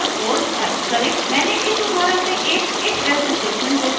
मैंने इस उदाहरण में एक ifelse स्टेटमेंट घोषित किया है